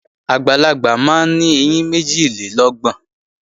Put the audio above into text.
Àgbàlagbà máa ń ní ẹyín méjìlélọ́gbọ̀n